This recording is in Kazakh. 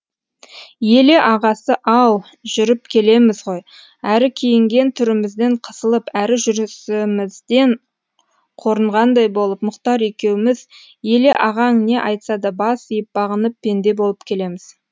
еле ағасы ау жүріп келеміз ғой әрі киінген түрімізден қысылып әрі жүрісімізден қорынғандай болып мұхтар екеуміз еле ағаң не айтса да бас иіп бағынып пенде болып келеміз